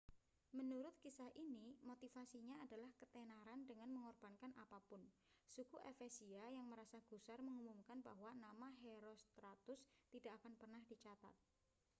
menurut kisah ini motivasinya adalah ketenaran dengan mengorbankan apa pun suku efesia yang merasa gusar mengumumkan bahwa nama herostratus tidak akan pernah dicatat